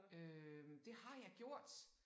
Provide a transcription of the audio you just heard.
Øh det har jeg gjort